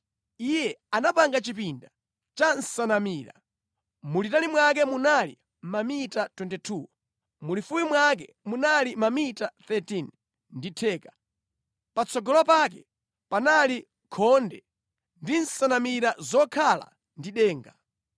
Iye anapanga Chipinda cha Nsanamira. Mulitali mwake munali mamita 22, mulifupi mwake munali mamita 13 ndi theka. Patsogolo pake panali khonde ndi nsanamira zokhala ndi denga.